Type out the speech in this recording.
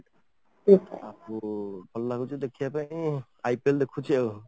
ଆଉ ଭଲ ଲାଗୁଛି ଦେଖା ପାଇଁ ତ IPL ଦେଖୁଛି ଆଉ